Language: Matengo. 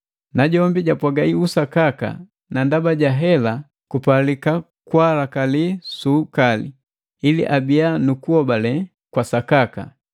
Najombi japwaga usakaka na ndaba ja hela kupalika kwaalakali su ukali, ili abiya nu kuhobale kwa sakaka.